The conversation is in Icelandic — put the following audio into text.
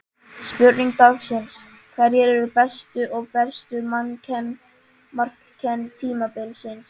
Spurning dagsins: Hverjir eru bestu og verstu markmenn tímabilsins?